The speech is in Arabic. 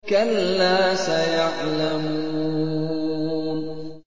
كَلَّا سَيَعْلَمُونَ